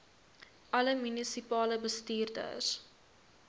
alle munisipale bestuurders